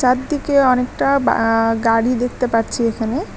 চারদিকে অনেকটা বা-আ গাড়ি দেখতে পাচ্ছি এখানে।